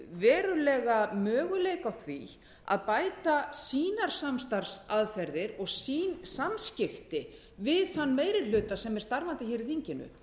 verulega möguleika á því að bæta sínar samstarfsaðferðir og sín samskipti við þann meiri hluta sem er starfandi í þinginu